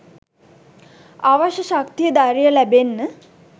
අවශ්‍ය ශක්තිය ධෛර්යය ලැබෙන්න